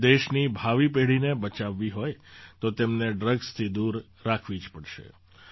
આપણે દેશની ભાવિ પેઢીને બચાવવી હોય તો તેમને ડ્રગ્સથી દૂર રાખવી જ પડશે